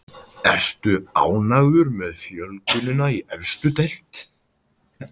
Ertu ánægður með fjölgunina í efstu deild?